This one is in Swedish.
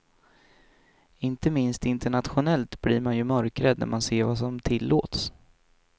Inte minst internationellt blir man ju mörkrädd när man ser vad som tillåts.